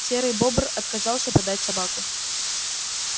серый бобр отказался продать собаку